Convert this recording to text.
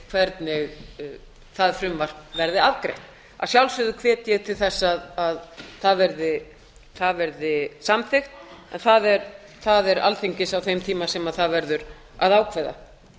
hvernig það frumvarp verður afgreitt að sjálfsögðu hvet ég til þess að það verði samþykkt en það er alþingi sem á þeim tíma verður að ákveða það